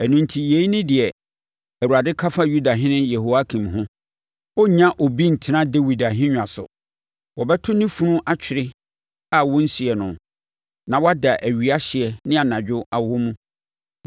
Ɛno enti, yei ne deɛ Awurade ka fa Yudahene Yehoiakim ho: Ɔrennya obi ntena Dawid ahennwa so. Wɔbɛto ne funu atwene a, wɔrensie no, na wada owia hyeɛ ne anadwo awɔ mu.